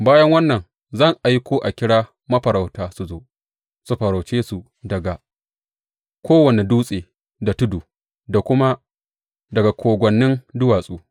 Bayan wannan zan aiko a kira mafarauta su zo, su farauce su daga kowane dutse da tudu da kuma daga kogwannin duwatsu.